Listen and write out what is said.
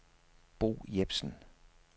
Bo Jepsen